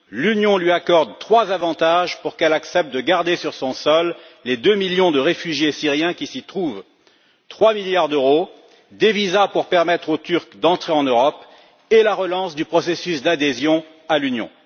L'Union lui accorde trois avantages pour qu'elle accepte de garder sur son sol les 2 millions de réfugiés syriens qui s'y trouvent, 3 milliards d'euros, des visas pour permettre aux Turcs d'entrer en Europe et la relance du processus d'adhésion à l'Union.